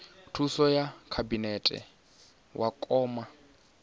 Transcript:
thuso ya khabinete wa kona